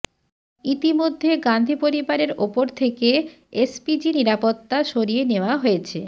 ইতিমধ্যে গান্ধী পরিবারের ওপর থেকে এসপিজি নিরাপত্তা সরিয়ে নেওয়া হয়েছে